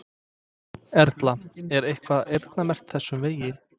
Erla: Er eitthvað eyrnamerkt þessum vegi?